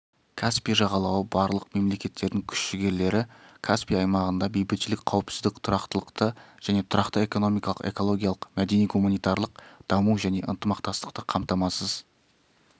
каспий жағалауы барлық мемлекеттердің күш-жігерлері каспий аймағында бейбітшілік қауіпсіздік тұрақтылықты және тұрақты экономикалық экологиялық мәдени-гуманитарлық даму және ынтмақтастықты қамтамасыз